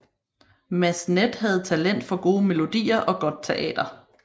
Massenet havde talent for gode melodier og godt teater